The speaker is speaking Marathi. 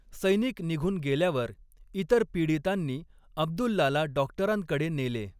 सैनिक निघून गेल्यावर इतर पीडितांनी अब्दुल्लाला डॉक्टरांकडे नेले.